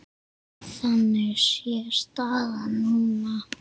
Þannig sé staðan núna.